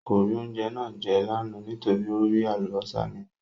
Kò rí oúnjẹ náà jẹ́ lánàá nítorí ó rí Àlùbọ́sà nínú ẹ̀